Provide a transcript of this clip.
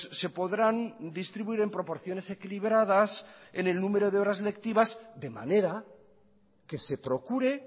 se podrán distribuir en proporciones equilibradas en el número de horas lectivas de manera que se procure